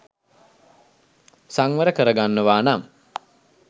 සංවර කරගන්නවා නම්